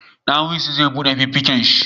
Dawisu zai bude fuffiken shi